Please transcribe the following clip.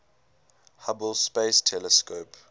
hubble space telescope